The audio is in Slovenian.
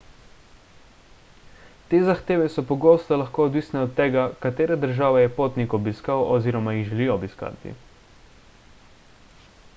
te zahteve so pogosto lahko odvisne od tega katere države je potnik obiskal oziroma jih želi obiskati